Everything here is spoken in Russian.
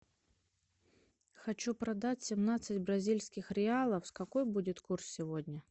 хочу продать семнадцать бразильских реалов какой будет курс сегодня